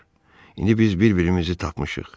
İndi biz bir-birimizi tapmışıq.